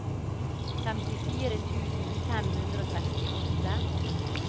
femtifire tusen fem hundre og sekstiåtte